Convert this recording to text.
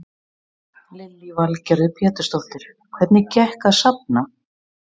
Lillý Valgerður Pétursdóttir: Hvernig gekk að safna?